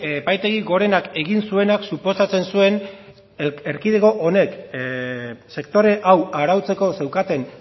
epaitegi gorenak egin zuenak suposatzen zuen erkidego honek sektore hau arautzeko zeukaten